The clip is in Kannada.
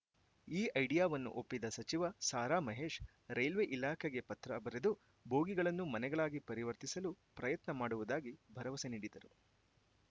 ಈ ಐಡಿಯಾವನ್ನು ಒಪ್ಪಿದ ಸಚಿವ ಸಾರಾ ಮಹೇಶ್‌ ರೈಲ್ವೆ ಇಲಾಖೆಗೆ ಪತ್ರ ಬರೆದು ಬೋಗಿಗಳನ್ನು ಮನೆಗಳಾಗಿ ಪರಿವರ್ತಿಸಲು ಪ್ರಯತ್ನ ಮಾಡುವುದಾಗಿ ಭರವಸೆ ನೀಡಿದರು